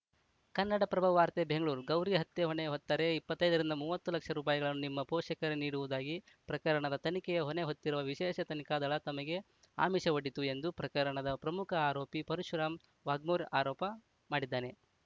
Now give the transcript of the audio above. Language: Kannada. ಕನ್ನಡಪ್ರಭ ವಾರ್ತೆ ಬೆಂಗಳೂರು ಗೌರಿ ಹತ್ಯೆ ಹೊಣೆ ಹೊತ್ತರೆ ಇಪ್ಪತ್ತೈ ರಿಂದ ಮೂವತ್ತು ಲಕ್ಷ ರುಪಾಯಿಗಳನ್ನು ನಿಮ್ಮ ಪೋಷಕರಿಗೆ ನೀಡುವುದಾಗಿ ಪ್ರಕರಣದ ತನಿಖೆಯ ಹೊಣೆ ಹೊತ್ತಿರುವ ವಿಶೇಷ ತನಿಖಾ ದಳ ತಮಗೆ ಆಮಿಷ ಒಡ್ಡಿತ್ತು ಎಂದು ಪ್ರಕರಣದ ಪ್ರಮುಖ ಆರೋಪಿ ಪರಶುರಾಮ ವಾಗ್ಮೋರ್ ಆರೋಪ ಮಾಡಿದ್ದಾನೆ